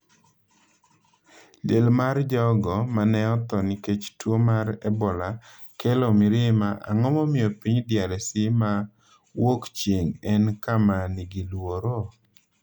Liel mar jogo ma ne otho nikech tuo mar Ebola kelo mirima Ang’o momiyo piny DRC ma Wuokchieng’ en kama nigi luoro?